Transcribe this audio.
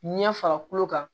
Ɲɛ fara kolo kan